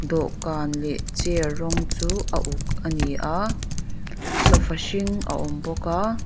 dawhkan leh chair rawng chu a uk ani a sofa hring a awm bawk a.